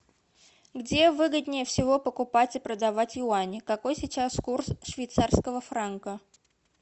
где выгоднее всего покупать и продавать юани какой сейчас курс швейцарского франка